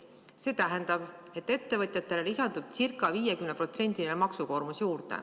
See tähendab, et ettevõtjatele lisandub ca 50% maksukoormust.